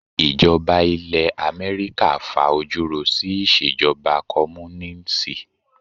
Ìjọba ilẹ̀ Amẹ́ríkà fa ojú ro sí ìṣèjọba Kọ́múnínísì.